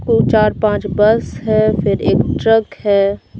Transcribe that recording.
दो चार पांच बस है फिर एक ट्रक है।